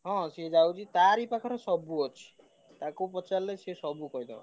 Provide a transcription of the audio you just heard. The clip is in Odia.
ହଁ ସିଏ ଯାଉଛି। ତାରି ପାଖରେ ସବୁ ଅଛି। ତାକୁ ପଚାରିଲେ ସିଏ ସବୁ କହିଦବ।